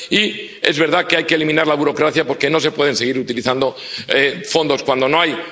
Y es verdad que hay que eliminar la burocracia, porque no se pueden seguir utilizando fondos cuando no hay.